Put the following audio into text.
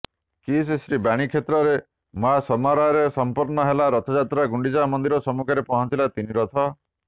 କିସ୍ ଶ୍ରୀବାଣୀକ୍ଷେତ୍ରରେ ମହାସମାରୋହରେ ସଂପନ୍ନ ହେଲା ରଥଯାତ୍ରା ଗୁଣ୍ଡିଚା ମନ୍ଦିର ସମ୍ମୁଖରେ ପହଞ୍ଚିଲା ତିନିରଥ